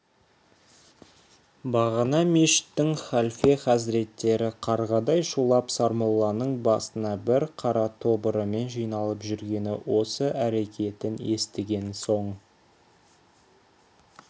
бағана мешіттің халфе хазіреттері қарғадай шулап сармолланың басына бар қара тобырымен жиналып жүргені осы әрекетін естіген соң